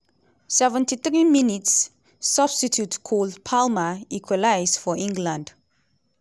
73 mins -substitute cole palmer equalise for england!